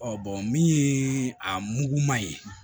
min ye a mugu ma ye